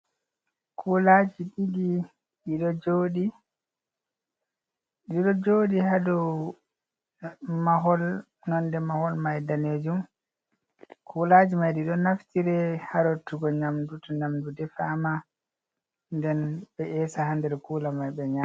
Kulaaji ɗiɗi ,ɗiɗo jooɗi haa dow mahol. Nonde mahol may daneejum ,kulaaji may ɗi ɗo naftire haa rottugo nyamdu, to nyamdu defaama ,nden ɓe eesa haa nder kuula may ɓe nyaama.